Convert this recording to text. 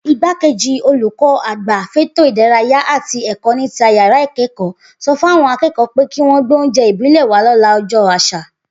Igbákejì olùkọ́-àgbà fétò ìdárayá àti è̩kó̩-níta-yàrá-ìké̩kò̩ó̩ so̩ fáwo̩n aké̩kò̩ó̩ pé kí wó̩n gbóúnjé̩ ìbílè̩ wá lọ́la o̩jó̩ às̩à